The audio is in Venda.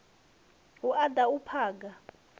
hu u da u phaga